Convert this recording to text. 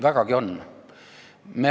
Vägagi on.